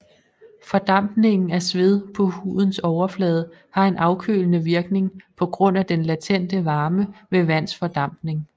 Fordampningen af sved fra hudens overflade har en afkølende virkning på grund af den latente varme ved vands fordampning